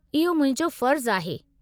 इहो मुंहिंजो फ़र्ज़ु आहे।